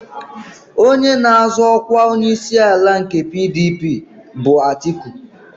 Onye na-azọ ọkwa onyeisiala nke PDP bụ Atiku.